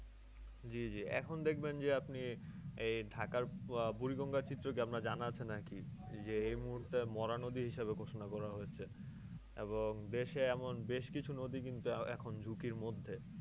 জী জী এখন দেখবেন যে আপনি, এই ঢাকার আহ বুড়িগঙ্গার চিত্র কি আপনার জানা আছে নাকি? যে মুহুর্তে মরা নদী হিসেবে ঘোষণা করা হয়েছে এবং দেশে এমন বেশকিছু নদী কিন্তু এখন ঝুঁকির মধ্যে।